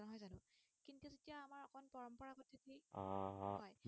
ঠিক আহ হয়